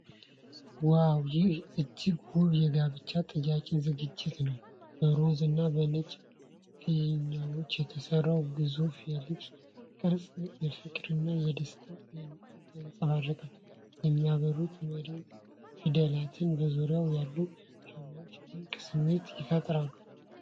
ዋው! ይህ እጅግ ውብ የጋብቻ ጥያቄ ዝግጅት ነው። በሮዝ እና በነጭ ፊኛዎች የተሰራው ግዙፍ የልብ ቅርጽ ፍቅርንና ደስታን ያንጸባርቃል። የሚያበሩት "መሪ ሚ" ፊደላትና በዙሪያው ያሉት ሻማዎች ድንቅ ስሜት ይፈጥራሉ።